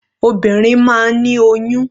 Obìnrin máa ń ní oyún.